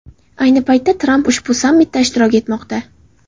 Ayni paytda Tramp ushbu sammitda ishtirok etmoqda.